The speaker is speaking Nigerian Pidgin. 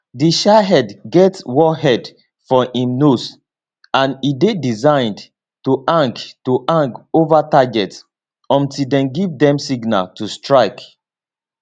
di shahed get warhead for im nose and e dey designed to hang to hang ova target until dem give dem signal to strike